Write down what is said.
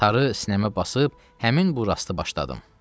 Tarı sinəmə basıb həmin bu rastı başladım.